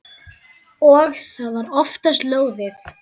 Og það var oftast lóðið.